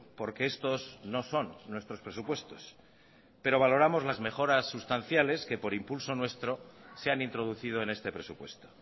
porque estos no son nuestros presupuestos pero valoramos las mejoras sustanciales que por impulso nuestro se han introducido en este presupuesto